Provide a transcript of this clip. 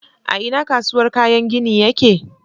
A ina kasuwar kayan gini yake?